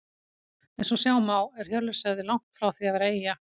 Eins og sjá má er Hjörleifshöfði langt frá því að vera eyja.